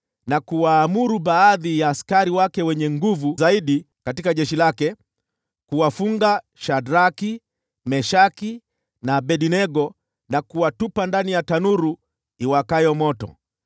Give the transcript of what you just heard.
na kuwaamuru baadhi ya askari wake wenye nguvu zaidi katika jeshi lake kuwafunga Shadraki, Meshaki na Abednego na kuwatupa ndani ya tanuru iwakayo moto.